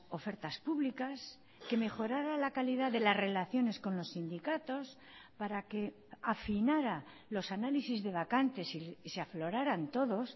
ofertas públicas que mejorara la calidad de las relaciones con los sindicatos para que afinara los análisis de vacantes y se afloraran todos